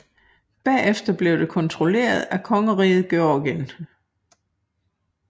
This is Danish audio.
Bagefter blev det kontrolleret af kongeriget Georgien